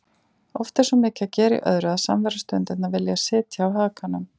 Oft er svo mikið að gera í öðru að samverustundirnar vilja sitja á hakanum.